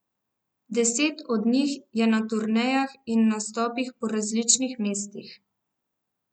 Deset od njih je na turnejah in nastopajo po različnih mestih.